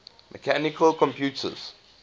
mechanical computers